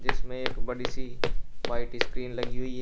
इसमें एक बड़ी सी व्हाइट स्क्रीन लगी हुई है।